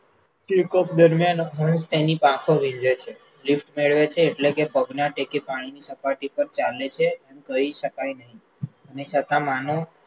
દરમિયાન તેની પાંખો વીંઝે છે, drift મેળવે છે એટલે કે પગના ટેકે પાણીની સપાટી પર ચાલે છે, જોઈ શકાય નહિ, છતાં માનો